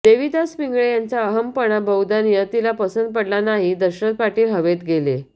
देवीदास पिंगळे यांचा अहमपणा बहुधा नियतीला पसंत पडला नाही दशरथ पाटील हवेत गेले